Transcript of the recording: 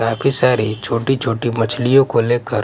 काफी सारी छोटी-छोटी मछलियों को लेकर--